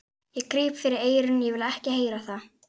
Ég gríp fyrir eyrun, ég vil ekki heyra það!